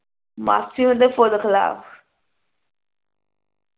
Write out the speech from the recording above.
ਮਾਸੀ ਉਹਦੇ full ਖਿਲਾਫ